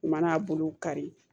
U mana bolo kari